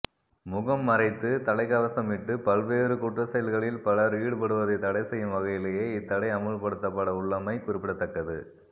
முகம் மறைத்து தலைகவசமிட்டு பல்வேறு குற்றச்செயல்களில் பலர் ஈடுபடுவதை தடைசெய்யும் வகையிலேயே இத்தடை அமுல்படுத்தப்படவுள்ளமை குறிப்பிடத்தக்கது